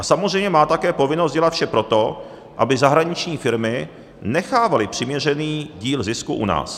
A samozřejmě má také povinnost dělat vše pro to, aby zahraniční firmy nechávaly přiměřený díl zisku u nás.